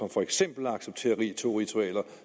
for eksempel at acceptere to ritualer